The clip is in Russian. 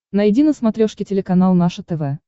найди на смотрешке телеканал наше тв